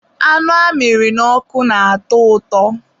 anụ amịrị n'ọkụ na-atọ ụtọ.